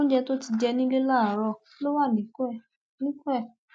oúnjẹ tó ti jẹ nílẹ láàárọ ló wà níkùn ẹ níkùn ẹ